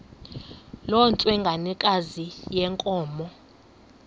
loo ntsengwanekazi yenkomo